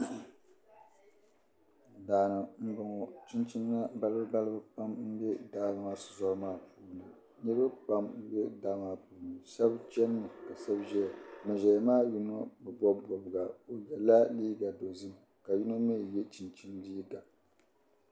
Daani n bɔŋɔ ,chinchina balibu balibu pam m-be daa maa shi tɔri maa puuni nirib pam m-be daa maa puuni, shab chani mi kashab ʒɛya ban ʒɛya maa yinɔ bi bɔb bɔbga, o yala liiga dɔzim ka yinɔ mi ye chinchini liiga.